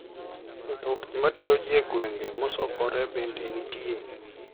Mtokni matero ji e gwenge mosokore bende nitie.